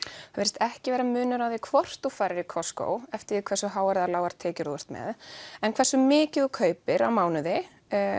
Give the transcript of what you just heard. virðist ekki vera munur á því hvort þú farir í Costco eftir því hversu háar eða lágar tekjur þú ert með en hversu mikið þú kaupir á mánuði